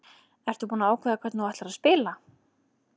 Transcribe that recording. Ertu búinn að ákveða hvernig þú ætlar að spila?